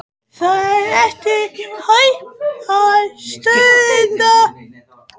Það er ekki hægt að stöðva þetta.